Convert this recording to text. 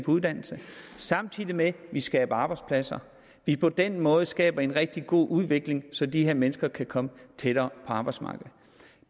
uddannelse samtidig med at vi skaber arbejdspladser det er på den måde vi skaber en rigtig god udvikling så de her mennesker kan komme tættere på arbejdsmarkedet